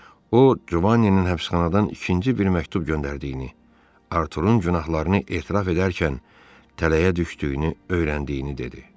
O Cuvaninin həbsxanadan ikinci bir məktub göndərdiyini, Arturun günahlarını etiraf edərkən tələyə düşdüyünü öyrəndiyini dedi.